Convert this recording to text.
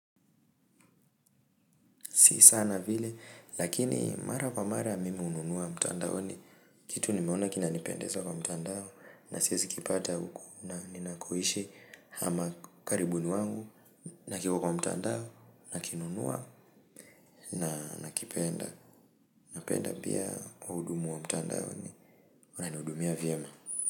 Si sana vile, lakini mara kwa mara mimi hununua mtandaoni, kitu nimeona kina nipendeza kwa mtandao, nasiezi kipata huku, na nina koishi hama ukaribuni wangu, na kiko kwa mtandao, na kinunua, na nakipenda, na penda pia wahudumu wa mtandaoni, wananihudumia vyema.